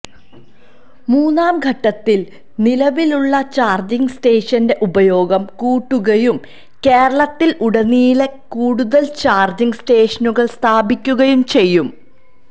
മൂന്നാംഘട്ടത്തില് നിലവിലുള്ള ചാര്ജിങ് സ്റ്റേഷന്റെ ഉപയോഗം കൂട്ടുകയും കേരളത്തിലുടനീളം കൂടുതല് ചാര്ജിങ് സ്റ്റേഷനുകള് സ്ഥാപിക്കുകയും ചെയ്യും